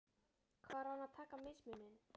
Hvar á hann að taka mismuninn?